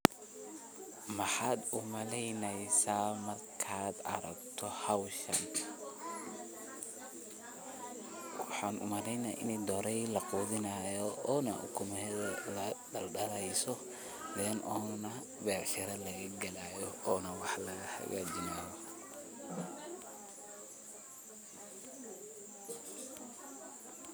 Maxaad umaleyneysa markadh aragto xowshaan, waxaan umaleyna ini dhorey laqudhinixayo ona ukumuxedha daaldaleyso ,ona becshira lagagalayo ona wax lagahagajinayo.